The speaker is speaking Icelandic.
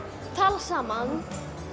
talar saman